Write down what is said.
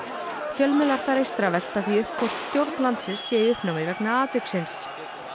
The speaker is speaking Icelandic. fjölmiðlar þar eystra velta því upp hvort stjórn landsins sé í uppnámi vegna atviksins